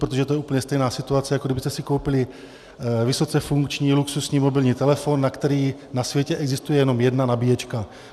Protože to je úplně stejná situace, jako kdybyste si koupili vysoce funkční, luxusní mobilní telefon, na který na světě existuje jenom jedna nabíječka.